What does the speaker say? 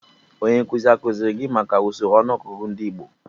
Onye nkuzi akuziri gi maka usoro ọnụọgụgụ ndị igbo?